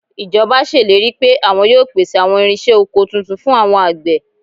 Ìjọba ṣèlérí pé àwọn yóò pèsè àwọn irinṣẹ́ oko tuntun fún àwọn àgbẹ̀